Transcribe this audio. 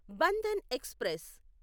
Bandhan express